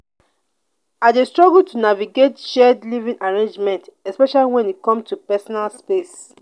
i dey struggle to navigate shared living arrangements especially when e come to personal space.